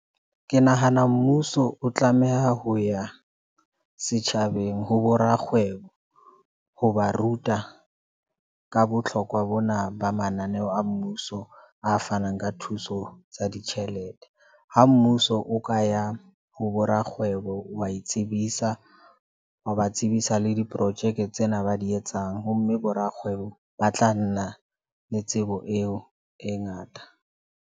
Ke nahana mmuso o tlameha ho ya setjhabeng ho bo rakgwebo ho ba ruta ka botlhokwa bona ba mananeo a mmuso a fanang ka thuso tsa ditjhelete. Ha mmuso o ka ya ho bo rakgwebo, wa itsebisa, wa ba tsebisa le diprojeke tsena ba di etsang ho mme. Bo rakgwebo ba tla nna le tsebo eo e ngata.